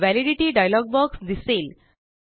validity dialog box दिसेल